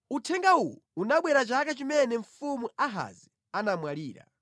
Uthenga uwu unabwera chaka chimene mfumu Ahazi anamwalira: